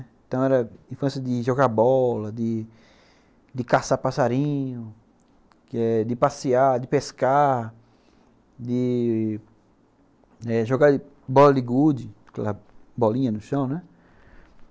Então era a infância de jogar bola, de caçar passarinho que, de passear, de pescar, de jogar bola de gude, aquela bolinha no chão, né?